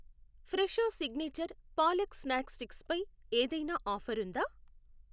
Fresho signature palak snack sticks పై ఏదైనా offer ఉందా?